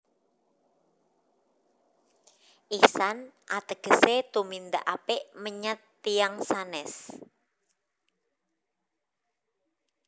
Ihsan ategese tumindak apik menyat tiyang sanes